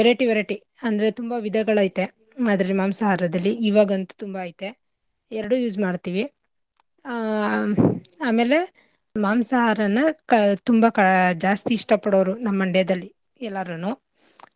Variety variety ಅಂದ್ರೆ ತುಂಬಾ ವಿಧಗಳೈತೆ ಅದ್ರಲ್ಲಿ ಮಾಂಸಾಹರದಲ್ಲಿ ಇವಾಗಂತು ತುಂಬಾ ಐತೆ, ಎರಡೂ use ಮಾಡ್ತಿವಿ ಆಹ್ ಆಮೇಲೆ ಮಾಂಸಾಹಾರನ ತುಂಬಾ ಕ ಜಾಸ್ತಿ ಇಷ್ಟ ಪಡೋರು ನಮ್ ಮಂಡ್ಯದಲ್ಲಿ ಎಲ್ಲಾರುನು.